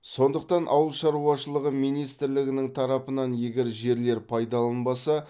сондықтан ауыл шаруашылығы министрлігінің тарапынан егер жерлер пайдаланылмаса